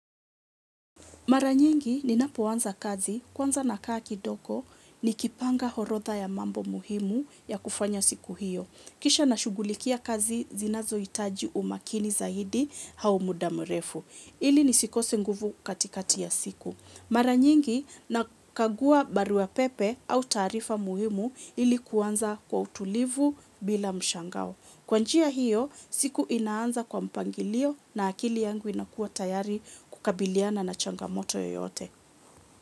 Mara nyingi ninapoanza kazi kwanza nakaa kidogo ni kipanga orodha ya mambo muhimu ya kufanya siku hiyo. Kisha na shughulikia kazi zinazohitaji umaakini zaidi au muda mrefu. Ili ni sikose nguvu katikati ya siku. Mara nyingi na kagua barua pepe au taarifa muhimu ili kuanza kwa utulivu bila mshangao. Kwa njia hiyo siku inaanza kwa mpangilio na akili yangu inakuwa tayari kukabiliana na changamoto yoyote.